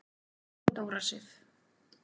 Þín Dóra Sif.